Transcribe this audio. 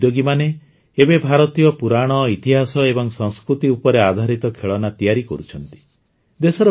ଭାରତୀୟ ଉଦ୍ୟୋଗୀମାନେ ଏବେ ଭାରତୀୟ ପୁରାଣ ଇତିହାସ ଏବଂ ସଂସ୍କୃତି ଉପରେ ଆଧାରିତ ଖେଳନା ତିଆରି କରୁଛନ୍ତି